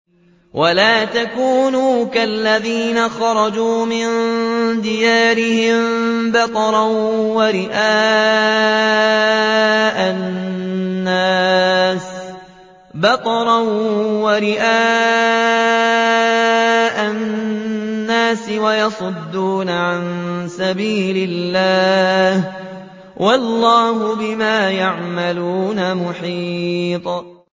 وَلَا تَكُونُوا كَالَّذِينَ خَرَجُوا مِن دِيَارِهِم بَطَرًا وَرِئَاءَ النَّاسِ وَيَصُدُّونَ عَن سَبِيلِ اللَّهِ ۚ وَاللَّهُ بِمَا يَعْمَلُونَ مُحِيطٌ